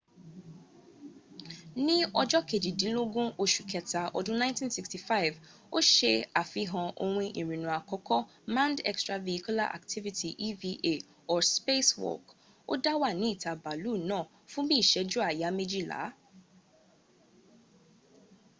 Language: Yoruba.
ni ojo kejidinlogun osu keta odun 1965 o se afihan ohun irinna akoko manned extravehicular activity eva or spacewalk” o da wa ni ita baalu naa fun bi iseju aya mejila